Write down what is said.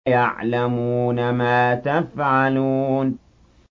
يَعْلَمُونَ مَا تَفْعَلُونَ